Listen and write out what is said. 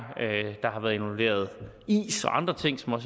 og der involveret is og andre ting som